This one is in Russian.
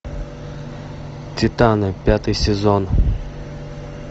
титаны пятый сезон